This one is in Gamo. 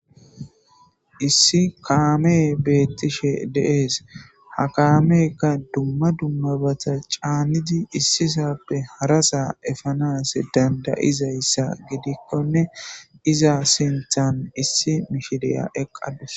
Issi kame betishe de'es ha kameyka duma dumabata c'anidi isisape harasa efanas danda'izaysa gidikonne iza sintan issi mishiriya eqadus.